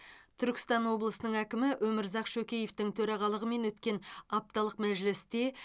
түркістан облысының әкімі өмірзақ шөкеевтің төрағалығымен өткен апталық мәжілісте